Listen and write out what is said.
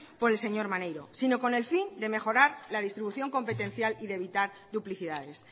por el señor maneiro sino con el fin de mejorar la distribución competencial y de evitar duplicidades